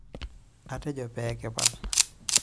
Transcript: Atejo pee kipal.